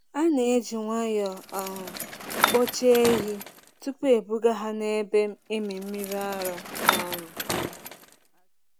A na-eji nwayọọ um kpochaa ehi tupu ebuga ha n’ebe ịmị mmiri ara. um